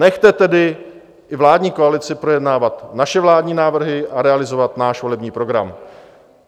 Nechte tedy i vládní koalici projednávat naše vládní návrhy a realizovat náš volební program.